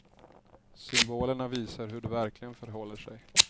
Symbolerna visar hur det verkligen förhåller sig.